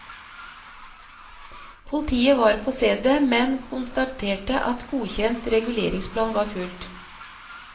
Politiet var på stedet, men konstaterte at godkjent reguleringsplan var fulgt.